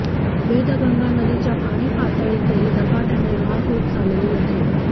वेदगंगा नदीच्या पाणी पातळीतही झपाट्याने वाढ होत चालली आहे